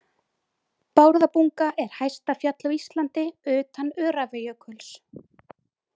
Bárðarbunga er hæsta fjall á Íslandi utan Öræfajökuls.